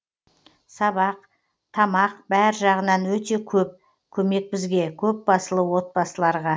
сабақ тамақ бәр жағынан өте көп көмек бізге көпбасылы отбасыларға